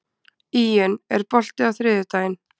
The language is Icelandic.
Íunn, er bolti á þriðjudaginn?